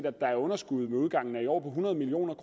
at der er underskud ved udgangen af i år på hundrede million